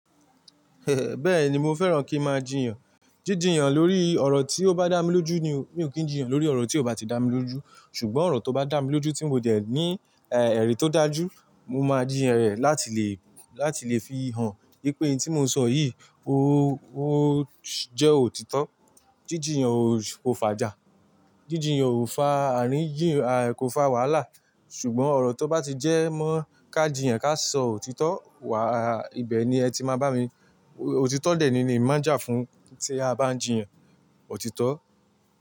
Bẹ́ẹ̀ ni mo fẹ́ràn kí n máa jiyàn. Jíjiyàn lórí ọ̀rọ̀ tí ó bá dá mi lójú ni, mi ò kí ń jìyàn lórí ọ̀rọ̀ tí ò bá ti dá mi lójú. Ṣùgbọ́n ọ̀rọ̀ tó bá dà mí lójú tí mo dẹ̀ ní, ẹ́, ẹ̀rí tó dájú, mo máa jìyàn rẹ̀ láti lè, láti lè fi hàn wípé ohun tí mo ṣọ yìí ó, ó jẹ́ òtítọ́. Jíjiyàn kò fàjà, jíjiyàn kò fa àríyàn, a, kò fa wàhálà. Ṣùgbọ́n ọ̀rọ̀ tó bá ti jẹ́ mọ́ ká jìyàn ká sọ òtítọ́, wà, ibẹ̀ ni ẹ ti máa bá mi, òtítọ́ dè ni èmi maa n jà fún tí a bá ń jìyàn òtítọ́